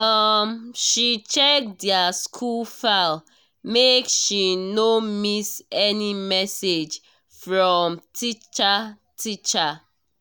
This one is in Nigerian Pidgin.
um she check their school file make she no miss any message from teacher teacher